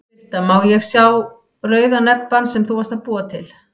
Birta: Má ég sá rauða nebbann sem þú varst að búa til?